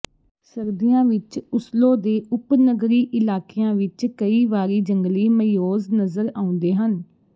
ਸਰਦੀਆਂ ਵਿੱਚ ਓਸਲੋ ਦੇ ਉਪਨਗਰੀ ਇਲਾਕਿਆਂ ਵਿੱਚ ਕਈ ਵਾਰੀ ਜੰਗਲੀ ਮਇਓਜ਼ ਨਜ਼ਰ ਆਉਂਦੇ ਹਨ